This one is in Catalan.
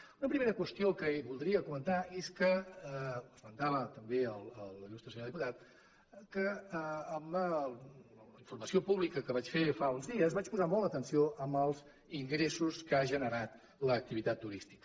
una primera qüestió que voldria comentar és que ho esmentava també l’il·lustre senyor diputat en la informació pública que vaig fer fa uns dies vaig posar molt l’atenció en els ingressos que ha generat l’activitat turística